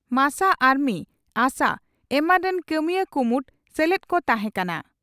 ᱢᱟᱥᱟ ᱟᱨᱢᱤ ᱟᱥᱟ ᱮᱢᱟᱱ ᱨᱤᱱ ᱠᱟᱹᱢᱤᱭᱟᱹ ᱠᱩᱢᱩᱴ ᱥᱮᱞᱮᱫ ᱠᱚ ᱛᱟᱦᱮᱸ ᱠᱟᱱᱟ ᱾